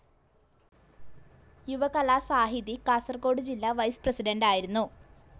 യുവകലാസാഹിതി കാസർകോട് ജില്ലാ വൈസ്‌ പ്രസിഡന്റായിരുന്നു.